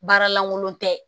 Baara lankolon tɛ